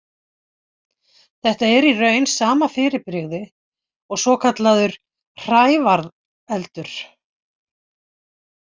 Þetta er í raun sama fyrirbrigði og svokallaður hrævareldur.